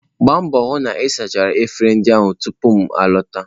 Gbaa mbọ hụ na ị sachara efere ndị ahụ tupu m a lọta.